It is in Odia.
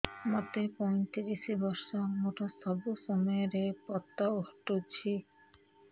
ମୋତେ ପଇଂତିରିଶ ବର୍ଷ ମୋର ସବୁ ସମୟରେ ପତ ଘଟୁଛି